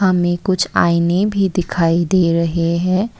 हमें कुछ आईने भी दिखाई दे रहे हैं।